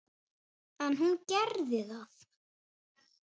En hún gerði það.